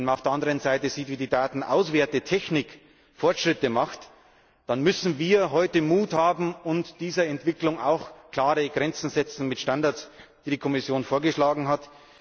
Wenn man auf der andern Seite sieht, wie die Datenauswertungstechnik Fortschritte macht, dann müssen wir heute den Mut haben, dieser Entwicklung auch klare Grenzen mit Standards zu setzen, die die Kommission vorgeschlagen hat.